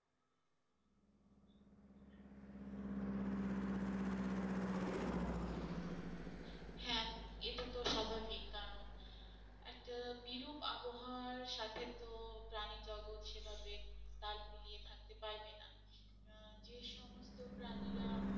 এটা তো স্বাভাবিক কারণ একটা বিরূপ আবহাওয়ার সাথে তো প্রাণী জগৎ সেভাবে তাল মিলিয়ে থাকতে পারবেনা। যে সমস্ত প্রাণীরা